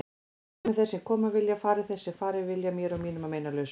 Komi þeir sem koma vilja, fari þeir sem fara vilja, mér og mínum að meinalausu.